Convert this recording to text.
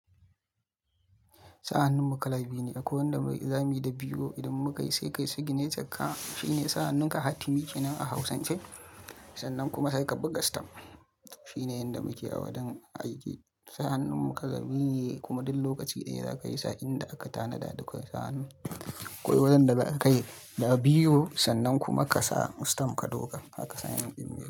Sa hannun mu kala biyu ne, akwai wanda muyi zamani da biro idan muka yi sai kai sigineci ka shine sa hannun ka hatimi kenan a hausance sannan kuma sai ka buga stam. Shine yanda muke a wajen aiki, sa hannun mu kala biyu kuma duk lokaci daya za ka yi sa in da aka tanada duka sa hannu. Akwai wajen da ba za ka yi da biyo sannan kuma ka sa stam ka dauka haka sannan ka yi.